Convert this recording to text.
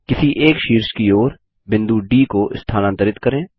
किसी एक शीर्ष की ओर बिंदु डी को स्थानांतरित करें